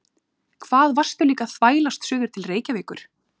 Hvað varstu líka að þvælast suður til Reykjavíkur?